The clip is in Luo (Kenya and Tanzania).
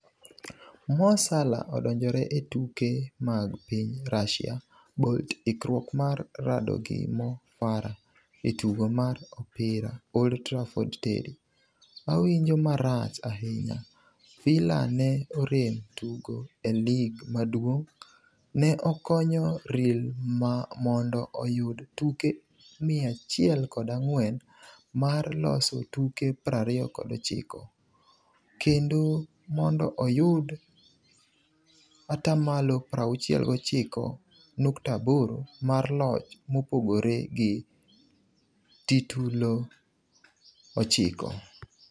Mo Salah odonjore e tuke mag piny Russia Bolt ikruok mar rado gi Mo Farah e tugo mar opira Old Trafford Terry: 'Awinjo marach ahinya' Villa ne orem tugo e lig maduong' Ne okonyo Real mondo oyud tuke 104 mar loso tuke 29, kendo mondo oyud 69.8% mar loch mopogore gi titulo 9.